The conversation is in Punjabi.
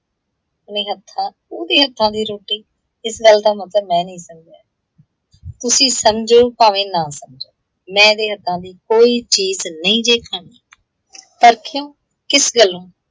ਨਿ ਹੱਥਾਂ ਉਹਦੇ ਹੱਥਾਂ ਦੀ ਰੋਟੀ? ਇਸ ਗੱਲ ਦਾ ਮਤਲਬ ਮੈਂ ਨਹੀਂ ਸਮਝਿਆ। ਤੁਸੀਂ ਸਮਝੋ ਭਾਵੇਂ ਨਾ ਸਮਝੋ, ਮੈਂ ਇਹਦੇ ਹੱਥਾਂ ਦੀ ਕੋਈ ਚੀਜ਼ ਨਹੀਂ ਜੇ ਖਾਣੀ। ਪਰ ਕਿਉਂ? ਕਿਸ ਗੱਲੋਂ?